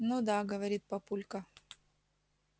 ну да говорит папулька